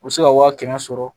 U bɛ se ka waa kɛmɛ sɔrɔ